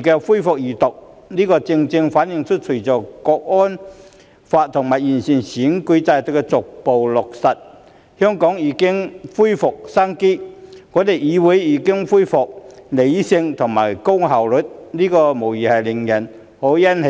的二讀辯論，這正正反映出，隨着《香港國安法》及完善選舉制度逐步落實，香港已經恢復生機，我們的議會亦已回復理性，以及高效率的工作，這無疑是令人欣喜的。